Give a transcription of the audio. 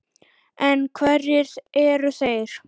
En hverjir eru þeir?